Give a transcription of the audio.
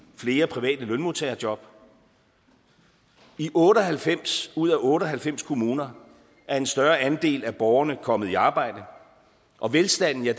flere private lønmodtagerjob i otte og halvfems ud af otte og halvfems kommuner er en større andel af borgerne kommet i arbejde og velstanden er